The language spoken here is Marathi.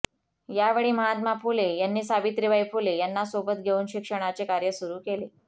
यावेळी महात्मा फुले यांनी सावित्रीबाई फुले यांना सोबत घेऊन शिक्षणाचे कार्य सुरू केले